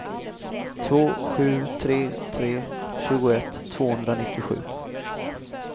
två sju tre tre tjugoett tvåhundranittiosju